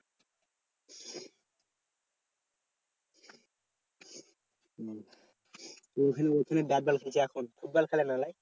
হম তো ওখানে ওখানে ব্যাটবল খেলছে এখন ফুটবল খেলেনা না?